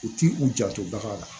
U ti u janto bagan na